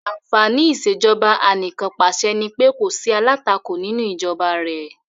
Àǹfàní ìṣèjọba anìkànpàṣẹ nipé kò sí alátakò nínú ìjọba rẹ̀.